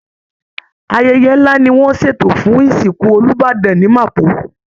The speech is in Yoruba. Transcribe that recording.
Ayẹyẹ ńlá ni wọ́n ń ṣètò fún ìsìnkù Olúbàdàn ní Mapo